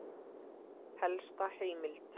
Helsta heimild